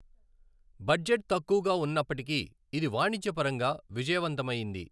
Budget తక్కువగా ఉన్నప్పటికీ ఇది వాణిజ్యపరంగా విజయవంతమైయింది.